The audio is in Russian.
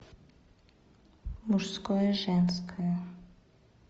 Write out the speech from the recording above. мужское женское